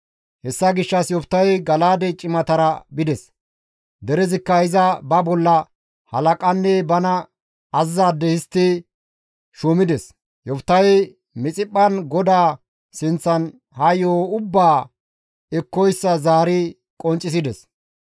Hessa gishshas Yoftahey Gala7aade cimatara bides; derezikka iza ba bolla halaqanne bana azazizaade histti shuumides; Yoftahey Mixiphphan GODAA sinththan ha yo7o ubbaa ekkoyssa zaari qonccisides.